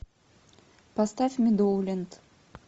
поставь медоуленд